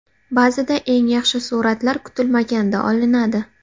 Ba’zida eng yaxshi suratlar kutilmaganda olinadi.